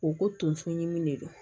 U ko tonso ɲimi de don